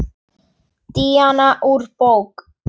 Díana úr bók.